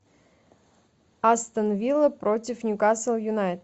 астон вилла против ньюкасл юнайтед